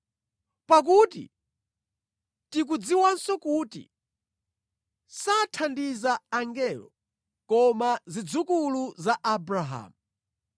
Pakuti tikudziwanso kuti sathandiza angelo, koma zidzukulu za Abrahamu.